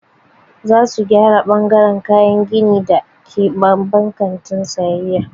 Za su gyara ɓangaran kayan gini da ke babban kantin sayayya.